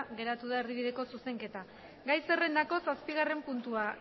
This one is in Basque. geratu da erdibideko zuzenketa gai zerrendako zazpigarren puntua